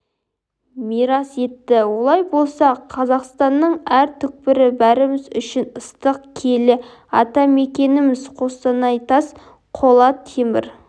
мирас етті олай болса қазақстанның әр түкпірі бәріміз үшін ыстық киелі атамекеніміз қостанайтас қола темір